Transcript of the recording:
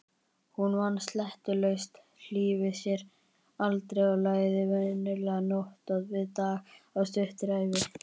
Hún vann sleitulaust, hlífði sér aldrei og lagði venjulega nótt við dag á stuttri ævi.